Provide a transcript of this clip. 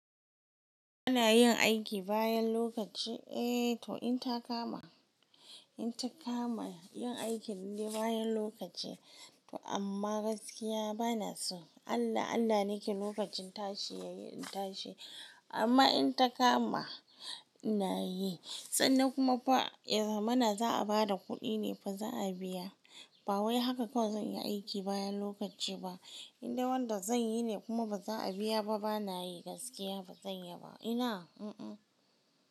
Ina yin aiki bayan lokaci, eh to in ta kama, in ta kama yin aikin nde bayan lokaci to amma gaskiya bana so. Allah Allah nake lokacin tashi yayi in tashi amma in ta kama ina yi sannan kuma fa ehmana za a bada kuɗi ne fa za a biya. Ba wai haka kawai zan yi aiki bayan lokaci ba. In de wanda zan yi ne kuma ba za a biya ba bana yi gaskiya ba zan yi ba. Ina? Mm mm.